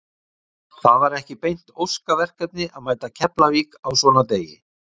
Það var ekki beint óska verkefni að mæta Keflavík á svona degi.